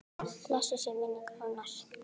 Blessuð sé minning Rúnars.